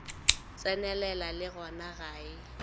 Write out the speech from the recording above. tsenelela le gona ga e